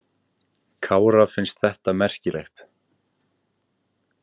Kára fannst þetta merkilegt.